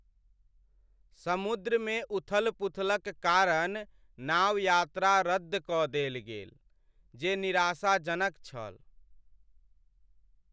समुद्रमे उथल पुथलक कारण नाव यात्रा रद्द कऽ देल गेल, जे निराशाजनक छल।